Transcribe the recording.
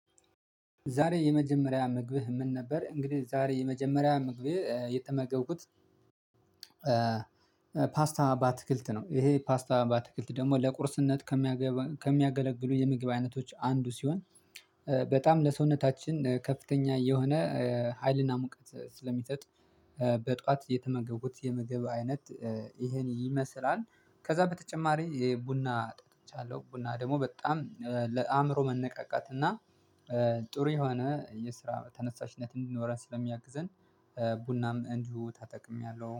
ዛሬ የመጀመሪያ ምግብህ ምን ነበር? እንግዲህ ዛሬ የመጀመሪያ ምግቤ የተመገብኩት ፓስታ ባትክልት ነው። ይሄ ፓስታ ባትክልት ደግሞ ለቁርስነት ከሚያገለግሉ የምግብ አይነቶች አንዱ ሲሆን። በጣም ለሰውነታችን ከፍተኛ የሆነ ሀይልና ሙቀት ስለሚሰጥ በጧት የተመገቡት የምግብ አይነት ይሄን ይመስላል። ከዛ በተጨማሪ የቡና ጠጥቻለሁ ቡና ደግሞ በጣም ለአእምሮ መነቃቃት እና ጥሩ የሆነ የስራ ተነሳሽነት እንዲኖረን ስለሚያግዘን ቡናም እንዲሁ ታጠቅሚያለሁ